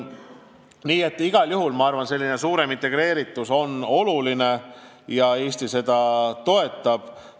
Nii et igal juhul ma arvan, et suurem integreeritus on oluline, ja Eesti seda toetab.